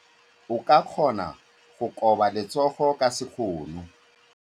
O ka kgona go koba letsogo ka sekgono.